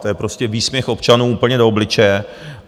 To je prostě výsměch občanům úplně do obličeje.